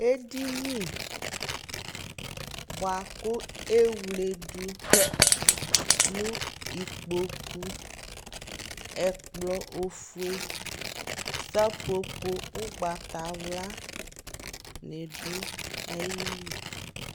Ɛdini bua ku ɛwle du nu ikpokuƐkplɔ ofue, sapopo ugbata wla ni du ayi li